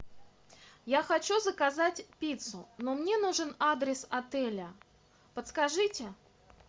я хочу заказать пиццу но мне нужен адрес отеля подскажите